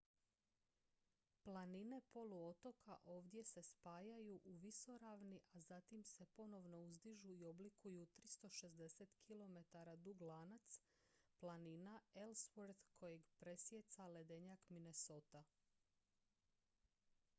planine poluotoka ovdje se spajaju u visoravni a zatim se ponovno uzdižu i oblikuju 360 km dug lanac planina ellsworth kojeg presijeca ledenjak minnesota